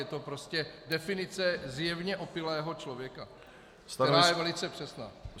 Je to prostě definice zjevně opilého člověka, která je velice přesná.